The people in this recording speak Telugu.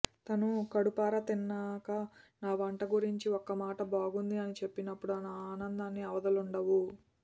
తను కడుపారా తిన్నాక నా వంట గురించి ఒక్కమాట బాగుంది అని చెప్పినప్పుడు నా ఆనందానికి అవధులుండవు